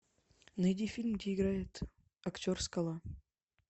найди фильм где играет актер скала